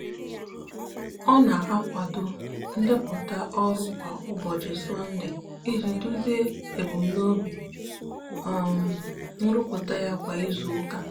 ọ na-akwado ndepụta ọrụ kwa ụbọchị sọnde iji duzie ebumnobi um nrụpụta ya kwa izuụka.